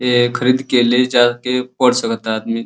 ए खरीद के ले जाके पढ़ सकता आदमी।